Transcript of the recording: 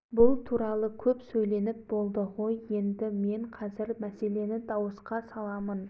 жанша сезді бітіріп отырған соң ақша-салық әңгімесін басқарма қайта қозғады енді сөз қылмай съезд төрағасы жаншаның